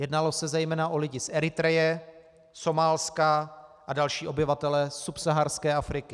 Jednalo se zejména o lidi z Eritreje, Somálska a další obyvatele subsaharské Afriky.